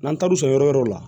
N'an taar'u sɔn yɔrɔ wɛrɛw la